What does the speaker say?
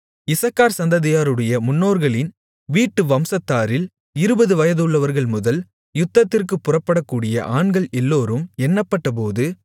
இசக்கார் சந்ததியாருடைய முன்னோர்களின் வீட்டு வம்சத்தாரில் இருபது வயதுள்ளவர்கள்முதல் யுத்தத்திற்குப் புறப்படக்கூடிய ஆண்கள் எல்லோரும் எண்ணப்பட்டபோது